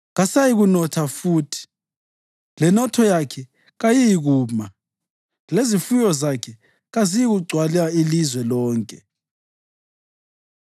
Kasayikunotha futhi lenotho yakhe kayiyikuma, lezifuyo zakhe kazisayikugcwala ilizwe lonke.